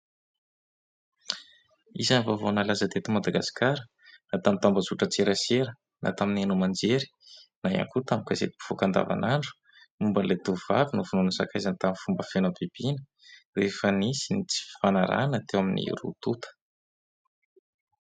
izany vaovaonalazadito madagaskara na tamin'ny tambazotra tserasera na tamin'ny enomanjery na hiankoa tamikazatympifoakan-davan'andro momba ilay doyvavy no vinoanisakaizana tamin'ny fomba feno am-pibina rehefa nisy ny tsy fanarana teo amin'ny rotota